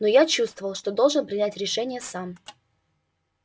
но я чувствовал что должен принять решение сам